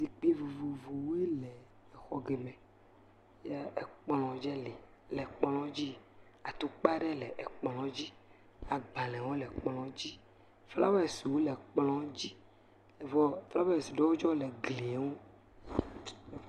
Zikpui vovovowoe le xɔ geme ye kplɔ̃ dzɛ le le kplɔ̃ dzi, atukpa aɖe le kplɔ̃ dzi, agbalẽwo le kplɔ̃ dzi, flawesiwo le kplɔ̃ dzi vɔ flawesi ɖewo tsɛ le gli ŋu.